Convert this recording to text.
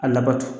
A labato